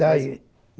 Está aí.